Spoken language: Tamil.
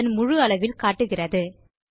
பக்கத்தை அதன் முழு அளவில் காட்டுகிறது